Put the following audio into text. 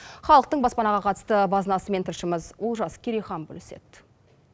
халықтың баспанаға қатысты базынасымен тілшіміз олжас керейхан бөліседі